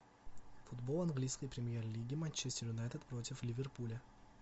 футбол английской премьер лиги манчестер юнайтед против ливерпуля